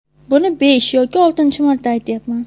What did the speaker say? Buni besh yoki oltinchi marta aytyapman.